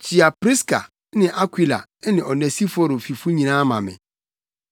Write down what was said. Kyia Priska ne Akwila ne Onesiforo fifo nyinaa ma me.